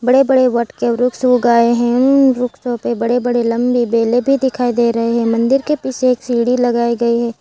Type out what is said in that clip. बड़े बड़े वट के वृक्ष ऊगाऐ हैं वृक्ष के ऊपर बड़े बड़े लंबे बेले भी दिखाई दे रहे हैं मंदिर के पीछे एक सीडी लगाई गईं --।